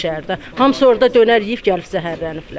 Hamısı orda dönər yeyib gəlib zəhərləniblər.